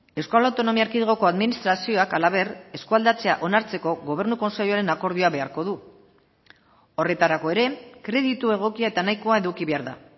euskal autonomia erkidegoko administrazioak halaber eskualdatzea onartzeko gobernu kontseiluaren akordioa beharko du horretarako ere kreditu egokia eta nahikoa eduki behar da